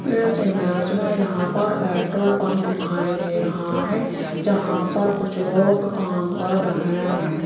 इस इमेज मे यहां पर पेट्रोल पंप दिखाई दे रहा है जहां पर कुछ लोग काम कर रहे है।